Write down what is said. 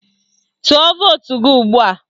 Tụọ vootu gị ugbua!